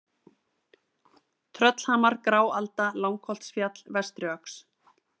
Tröllhamar, Gráalda, Langholtsfjall, Vestriöxl